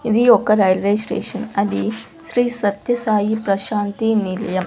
ఇది ఒక railway station అది శ్రీ సత్యసాయి ప్రశాంతి నిలయం.